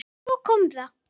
Svo kom það.